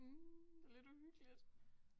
Mh lidt uhyggeligt